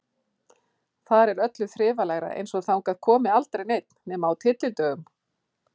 Þar er öllu þrifalegra, eins og þangað komi aldrei neinn nema á tyllidögum.